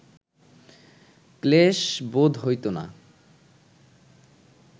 ক্লেশ বোধ হইত না